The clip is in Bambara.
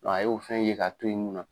Dɔ a y'o fɛn ye k'a to ye mun na